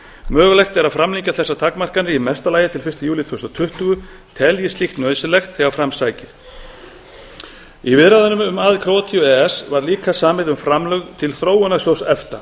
mögulegt er að framlengja þessar takmarkanir í mesta lagi til fyrsta júlí tvö þúsund og tuttugu teljist slíkt nauðsynlegt þegar fram sækir í viðræðunum um aðild króatíu að e e s var líka samið um framlög til þróunarsjóðs efta